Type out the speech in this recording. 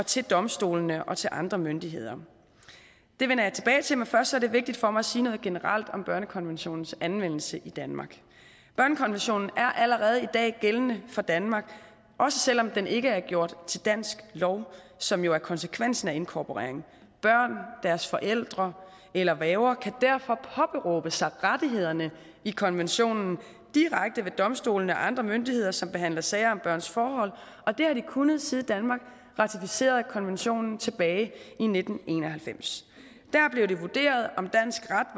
til domstolene og andre myndigheder det vender jeg tilbage til men først er det vigtigt for mig at sige noget generelt om børnekonventionens anvendelse i danmark børnekonventionen er allerede i dag gældende for danmark også selv om den ikke er gjort til dansk lov som jo er konsekvensen af inkorporeringen børn deres forældre eller værger kan derfor påberåbe sig rettighederne i konventionen direkte ved domstolene og andre myndigheder som behandler sager om børns forhold og det har de kunnet siden danmark ratificerede konventionen tilbage i nitten en og halvfems der blev det vurderet om dansk ret